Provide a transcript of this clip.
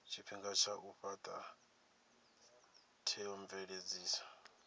tshifhinga tsha u fhata theomveledziso